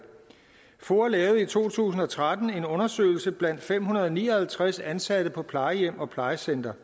foa lavede i to tusind og tretten en undersøgelse blandt fem hundrede og ni og halvtreds ansatte på plejehjem og plejecentre